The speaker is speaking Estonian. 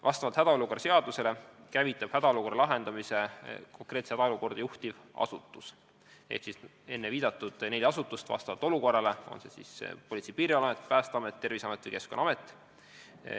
Vastavalt hädaolukorra seadusele käivitab hädaolukorra lahendamise konkreetse hädaolukorra lahendamist juhtiv asutus ehk siis vastavalt olukorrale kas Politsei- ja Piirivalveamet, Päästeamet, Terviseamet või Keskkonnaamet.